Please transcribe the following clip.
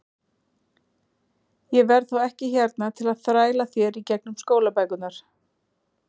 Ég verð þá ekki hérna til að þræla þér í gegnum skólabækurnar.